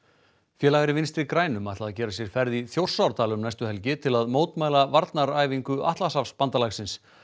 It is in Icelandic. félagar í Vinstri grænum ætla að gera sér ferð í Þjórsárdal um næstu helgi til að mótmæla varnaræfingu Atlantshafsbandalagsins